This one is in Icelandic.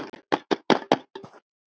Blessuð sólin kyssir rauðan sæ.